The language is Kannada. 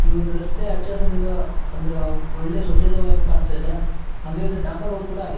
ಈ ಒಂದು ರಸ್ತೆ ಹಚ್ಚ ಹಸುರಿಂದಿದ ಅಂದ್ರೆ ಒಳ್ಳೆ ಸ್ವಚ್ಛತೆ ಆಗಿ ಕಾಣಿಸ್ತಿದೆ ಹಂಗೆ ಡಾಂಬರ್ ರೋಡ್ ಕೂಡ ಆಗೈತೆ.